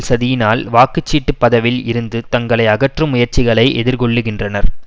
சதியினால் வாக்கு சீட்டுப் பதவில் இருந்து தங்களை அகற்றும் முயற்சிகளை எதிர்கொள்ளுகின்றனர்